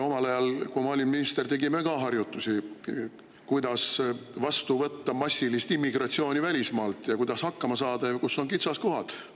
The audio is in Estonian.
Omal ajal, kui ma olin minister, tegime ka harjutusi, kuidas vastu võtta massilist immigratsiooni välismaalt ja kuidas hakkama saada ja kus on kitsaskohad.